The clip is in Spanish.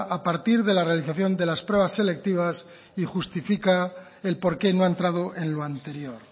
a partir de la realización de las pruebas selectivas y justifica el por qué no ha entrado en lo anterior